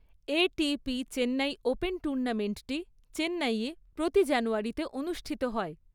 ATP Chennai open টুর্নামেণ্টটি চেন্নাইয়ে, প্রতি জানুয়ারিতে অনুষ্ঠিত হয়।